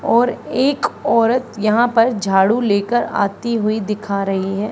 और एक औरत यहां पर झाड़ू लेकर आई हुई दिखा रही है।